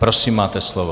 Prosím, máte slovo.